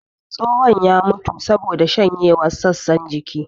Tsohon ya mutu saboda shanyewar sassan jiki